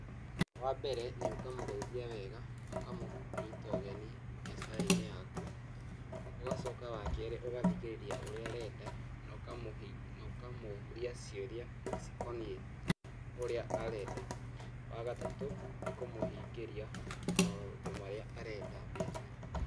Wambere nĩ ũkamũgeithia wega na ũkamũnyita ũgeni mbiacara-inĩ yaku, ũgacoka wakerĩ ũgathikĩrĩria ũrĩa arenda na na ukamũria ciũria cikonie ũrĩa arenda, wagatatũ nĩ kũmũhingĩria maũndũ marĩa arenda mbiacara-inĩ.